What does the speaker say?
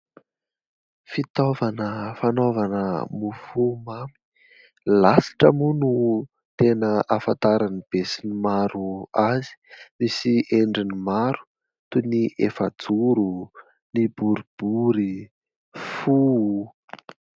Fitaovana fanaovana mofo mamy. "Lasitra" mo no tena ahafantaran'ny be sy ny maro azy. Misy endriny maro, toy ny : efajoro, ny boribory, fo.